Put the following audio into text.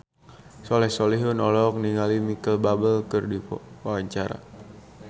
Soleh Solihun olohok ningali Micheal Bubble keur diwawancara